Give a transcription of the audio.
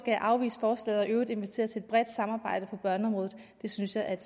jeg afvise forslaget og i øvrigt invitere til et bredt samarbejde på børneområdet det synes jeg at